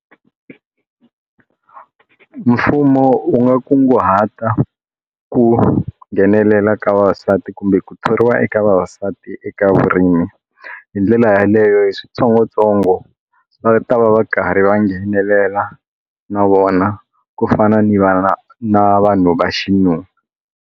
Mfumo u nga kunguhata ku nghenelela ka vavasati kumbe ku thoriwa eka vavasati eka vurimi hi ndlela yaleyo hi switsongotsongo va ta va va karhi va nghenelela na vona ku fana ni va na vanhu va xinuna.